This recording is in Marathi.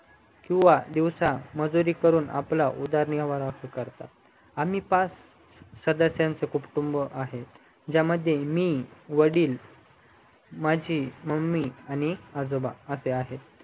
किव्हा दिवसा मजुरी करूनआपला उदार निर्वाह करतात आम्ही पाच सदश च कुटुंब आहेत मू वडील माझी मम्मी आणि आजोबा असे आहेत